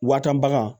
Wa tan bagan